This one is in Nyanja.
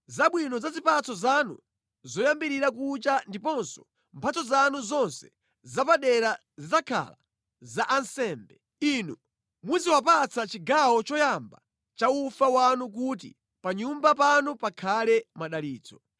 Zabwino za zipatso zanu zoyambirira kucha ndiponso mphatso zanu zonse zapadera zidzakhala za ansembe. Inu muziwapatsa chigawo choyamba cha ufa wanu kuti pa nyumba panu pakhale madalitso.